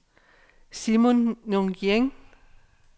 Simon Nguyen